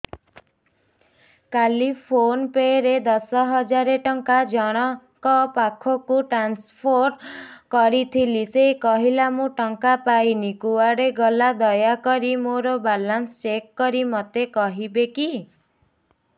କାଲି PhonePe ରେ ଦଶ ହଜାର ଟଙ୍କା ଜଣକ ପାଖକୁ ଟ୍ରାନ୍ସଫର୍ କରିଥିଲି ସେ କହିଲା ମୁଁ ଟଙ୍କା ପାଇନି କୁଆଡେ ଗଲା ଦୟାକରି ମୋର ବାଲାନ୍ସ ଚେକ୍ କରି ମୋତେ କହିବେ କି